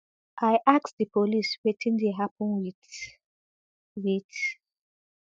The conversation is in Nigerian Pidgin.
i ask di police wetin dey happun wit wit